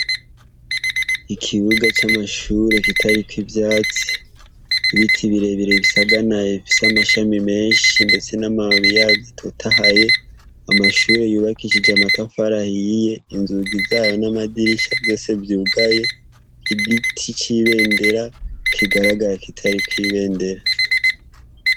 Ikibuga c'amashure kitariko ivyatsi, ibiti birebire bisaganaye bifise amashami menshi ndetse n'amababi yavyo atotahaye. Amashure yubakishije amatafari ahiye, inzugi zayo n'amadirisha vyose vyugaye n'igiti c'ibendera kigaragara kitariko ibendera.